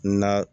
Na